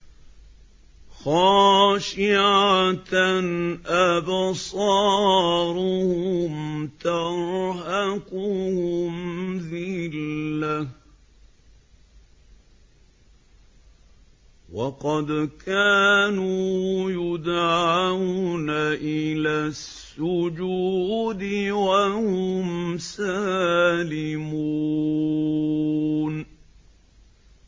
خَاشِعَةً أَبْصَارُهُمْ تَرْهَقُهُمْ ذِلَّةٌ ۖ وَقَدْ كَانُوا يُدْعَوْنَ إِلَى السُّجُودِ وَهُمْ سَالِمُونَ